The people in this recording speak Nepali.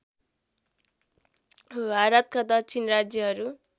भारतका दक्षिणी राज्यहरू